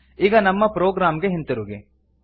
ಈಗ ನಮ್ಮ ಪ್ರೊಗ್ರಾಮ್ ಗೆ ಹಿಂತಿರುಗಿ